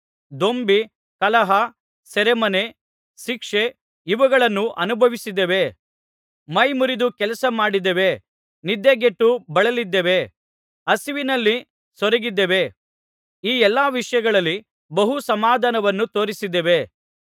ದೊಂಬಿ ಕಲಹ ಸೆರೆಮನೆ ಶಿಕ್ಷೆ ಇವುಗಳನ್ನು ಅನುಭವಿಸಿದ್ದೇವೆ ಮೈಮುರಿದು ಕೆಲಸ ಮಾಡಿದ್ದೇವೆ ನಿದ್ದೆಗೆಟ್ಟು ಬಳಲಿದ್ದೇವೆ ಹಸಿವಿನಲ್ಲಿ ಸೊರಗಿದ್ದೇವೆ ಈ ಎಲ್ಲಾ ವಿಷಯಗಳಲ್ಲಿ ಬಹು ಸಮಾಧಾನವನ್ನು ತೋರಿಸಿದ್ದೇವೆ